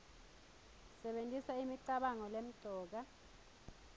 sebentisa imicabango lemcoka